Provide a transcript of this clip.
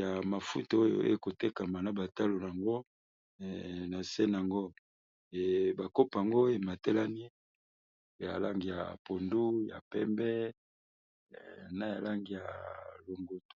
ya mafuto oyo ekotekama na batalo yango na se nango bakopoango ematelani ya langi ya pondu ya pembe na yalangi ya longoto